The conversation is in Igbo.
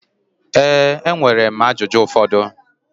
Ee, enwere m ajụjụ ụfọdụ.